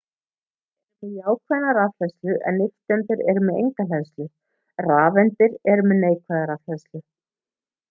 róteindir eru með jákvæða rafhleðslu en nifteindir eru með enga hleðslu rafeindirnar eru með neikvæða rafhleðslu